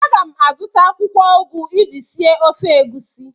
A ga m azụta akwụkwọ ugu iji sie ofe egusi.